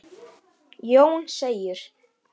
Jón segir: